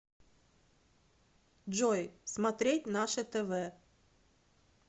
джой смотреть наше тв